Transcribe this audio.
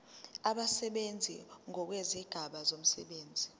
abasebenzi ngokwezigaba zomsebenzi